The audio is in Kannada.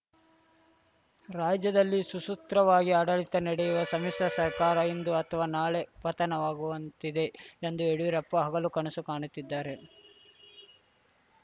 ರಾಜ್ಯದಲ್ಲಿ ಸುಸೂತ್ರವಾಗಿ ಆಡಳಿತ ನಡೆಯುವ ಸಮ್ಮಿಶ್ರ ಸರ್ಕಾರ ಇಂದು ಅಥವಾ ನಾಳೆ ಪತನವಾಗುವಂತಿದೆ ಎಂದು ಯಡಿಯೂರಪ್ಪ ಹಗಲು ಕನಸು ಕಾಣುತ್ತಿದ್ದಾರೆ